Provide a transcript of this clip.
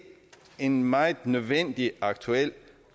en meget nødvendig aktuel